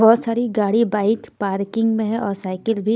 बहुत सारी गाड़ी बाइक पार्किंग में है और साइकिल भी--